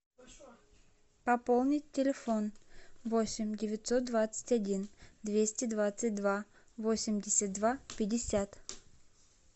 пополнить телефон восемь девятьсот двадцать один двести двадцать два восемьдесят два пятьдесят